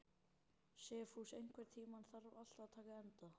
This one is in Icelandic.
Sophus, einhvern tímann þarf allt að taka enda.